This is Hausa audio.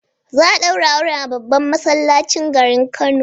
Za'a daura auren a babban masallacin cikin gari Kano